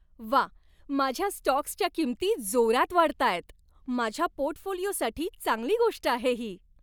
व्वा, माझ्या स्टॉक्सच्या किंमती जोरात वाढताहेत! माझ्या पोर्टफोलिओसाठी चांगली गोष्ट आहे ही.